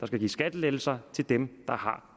skal gives skattelettelser til dem der har